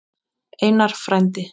Einar frændi.